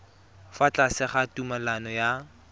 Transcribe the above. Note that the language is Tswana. fa tlase ga tumalano ya